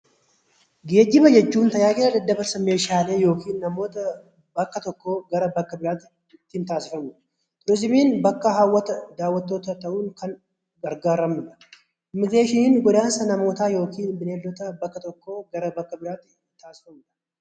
Geejjiba jechuun tajaajila daddabarsa meeshaalee yookiin namoota bakka tokkoo gara biraatti ittiin taasifamudha. Turizimiin bakka hawwata daawwannattootaa ta'uun kan gargaaramnudha. Immigireeshiniin godaansa namootaa yookaan bineeldotaa bakka tokkoo gara bakka biraatti taasifamudha.